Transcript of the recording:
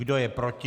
Kdo je proti?